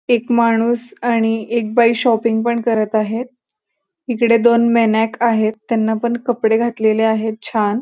एक माणूस आणि एक बाई शॉपिंग पण करत आहेत इकडे दोन मेनाक आहेत त्याना पण कपडे घातलेले आहेत छान --